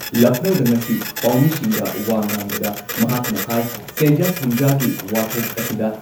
ꯂꯈꯅꯧꯗ ꯉꯁꯤ ꯄꯥꯎꯃꯤꯁꯤꯡꯗ ꯋꯥ ꯉꯥꯡꯕꯗ ꯃꯍꯥꯛꯅ ꯍꯥꯏ ꯁꯦꯟꯖꯥ ꯊꯨꯝꯖꯥꯒꯤ ꯋꯥꯊꯣꯛ ꯑꯁꯤꯗ